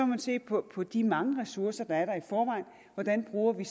man se på på de mange ressourcer der er i forvejen hvordan bruger vi